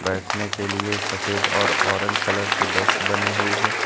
बैठने के लिए सफेद और ऑरेंज कलर की डेस्क बनी हुई है।